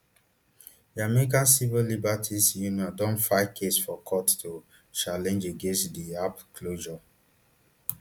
di american civil liberties union don file case for court to challenge against di app closure